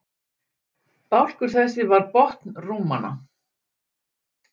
Bálkur þessi var botn rúmanna.